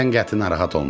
Sən qəti narahat olma.